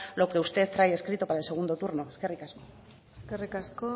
lo que usted trae escrito para el segundo turno eskerrik asko eskerrik asko